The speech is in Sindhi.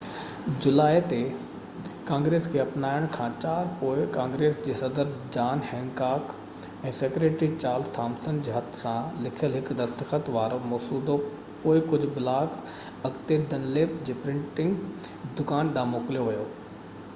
4 جولائي تي ڪانگريس کي اپنائڻ کان پوءِ ڪانگريس جي صدر John Hancock ۽ secretary Charles Thomson جي هٿ سان لکيل هڪ دستخط وارو مسودو پوءِ ڪجهه بلاڪ اڳتي ڊنليپ جي پرنٽنگ جي دڪان ڏانهن موڪليو ويو